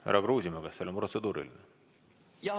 Härra Kruusimäe, kas teil on protseduuriline küsimus?